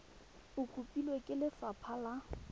e kopilwe ke lefapha la